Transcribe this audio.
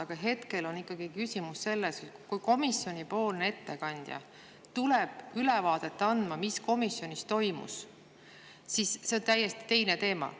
Aga hetkel on ikkagi küsimus selles, kui komisjoni ettekandja tuleb andma ülevaadet sellest, mis komisjonis toimus – see on täiesti teine teema.